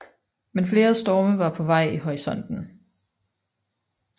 Men flere storme var på vej i horisonten